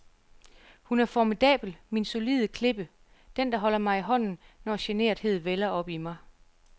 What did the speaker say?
Hun er formidabel, min solide klippe, den, der holder mig i hånden, når generthed vælder op i mig.